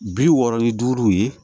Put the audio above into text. Bi wɔɔrɔ ni duuru ye